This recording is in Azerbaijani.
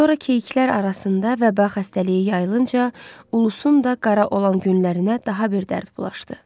Sonra keyiklər arasında vəba xəstəliyi yayılınca ulusun da qara olan günlərinə daha bir dərd bulaşdı.